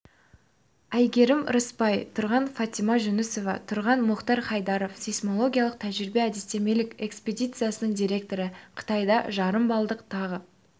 айгерім рысбай тұрғын фатима жүнісова тұрғын мұхтар хайдаров сейсмологиялық тәжірибе-әдістемелік экспедициясының директоры қытайда жарым балдық тағы